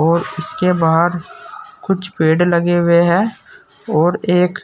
और इसके बाहर कुछ पेड़ लगे हुए हैं और एक